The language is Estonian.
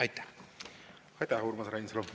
Aitäh, Urmas Reinsalu!